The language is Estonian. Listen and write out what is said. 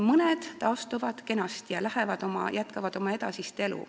Mõned taastuvad kenasti ja jätkavad siis oma edasist elu.